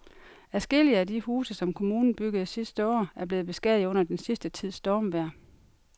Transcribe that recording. Adskillige af de huse, som kommunen byggede sidste år, er blevet beskadiget under den sidste tids stormvejr.